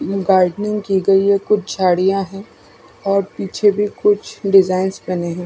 Gardening की गई है कुछ झाड़ियां है और पीछे भी कुछ डिजाइंस बने है।